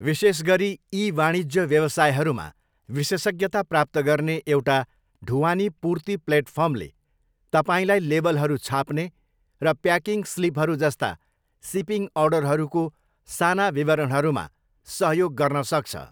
विशेष गरी ई वाणिज्य व्यवसायहरूमा विशेषज्ञता प्राप्त गर्ने एउटा ढुवानी पूर्ति प्लेटफर्मले तपाईँलाई लेबलहरू छाप्ने र प्याकिङ स्लिपहरू जस्ता सिपिङ अर्डरहरूको साना विवरणहरूमा सहयोग गर्न सक्छ।